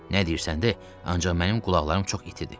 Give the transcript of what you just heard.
Nə deyirsən, de, ancaq mənim qulaqlarım çox itidi.